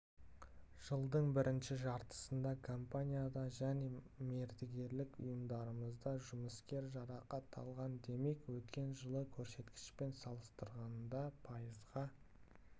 жылдың бірінші жартысында компанияда және мердігерлік ұйымдарымызда жұмыскер жарақат алған демек өткен жылғы көрсеткішпен салыстырғанда пайызға